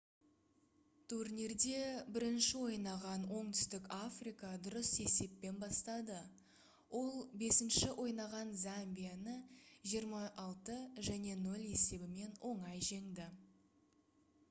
турнирде бірінші ойнаған оңтүстік африка дұрыс есеппен бастады ол 5-ші ойнаған замбияны 26 - 00 есебімен оңай жеңді